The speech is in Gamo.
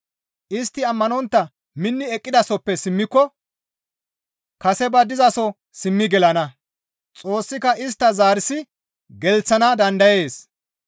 Istti ammanontta minni eqqidasoppe simmiko kase ba dizaso simmi gelana; Xoossika istta zarsi gelththana dandayees.